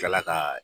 Kila ka